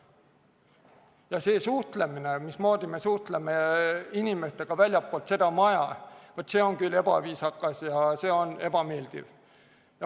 Vaat, see suhtlemine, mismoodi me suhtleme inimestega väljastpoolt seda maja, on küll ebaviisakas ja ebameeldiv.